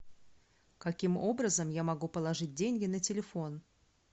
каким образом я могу положить деньги на телефон